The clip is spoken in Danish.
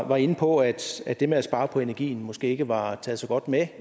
var inde på at at det med at spare på energien måske ikke var taget så godt med